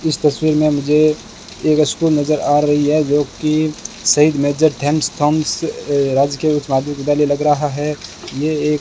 इस तस्वीर में मुझे एक स्कूल नजर आ रही है जो कि शहीद मेजर ध्यानथॉम्स राजकीय उच्च माध्यमिक विद्यालय लग रहा है ये एक--